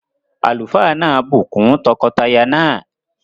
Àlùfáà náà bù kún tọkọtaya náà